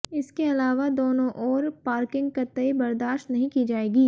इसके अलावा दोनों ओर पार्किंग कतई बर्दाश्त नहीं की जाएगी